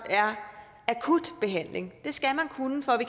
akut behandling det skal man kunne for